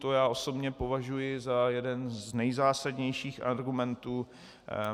To já osobně považuji za jeden z nejzásadnějších argumentů.